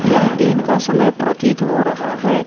यह दिन का समय प्रतीत हो रहा है।